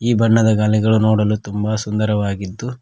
ಈ ಬಣ್ಣದ ಗಾಲಿಗಳು ನೋಡಲು ತುಂಬ ಸುಂದರವಾಗಿದ್ದು--